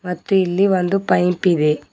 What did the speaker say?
ಮತ್ತು ಇಲ್ಲಿ ಒಂದು ಪೈಂಪ್ ಇದೆ.